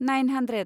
nine hundred